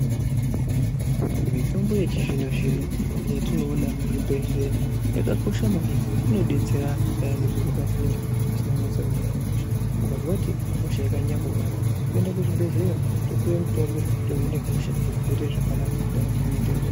Mitombo yechizvino-zvino yetinoona muchibhedhleya yakakosha maningi ngekuti inodetsera antu payani zviro pazvinenge zvisina kunyatsa kumira mushe. Mukazwa kuti hosha yakanyanya kuomarara, toenda kuchibhedhleya topuwe mutombo, tohine hosha, zviro zvoite zvakanaka, ndaramo yoenderera.